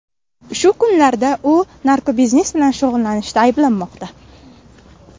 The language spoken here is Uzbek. Shu kunlarda u narkobiznes bilan shug‘ullanishda ayblanmoqda.